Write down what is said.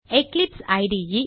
Eclipse இடே